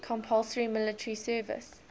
compulsory military service